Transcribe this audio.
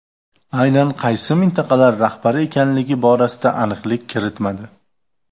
Aynan qaysi mintaqalar rahbari ekanligi borasida aniqlik kiritmadi.